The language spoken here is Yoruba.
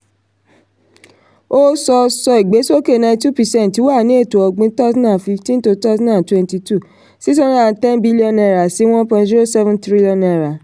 ó sọ: sọ: ìgbésókè ninety two percent wà ní ètò-ọ̀gbìn twenty fifteen-twenty twenty two six hndred and ten billion naira sí one point zero seven trillion naira